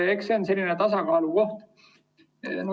Eks see ole selline tasakaalu koht.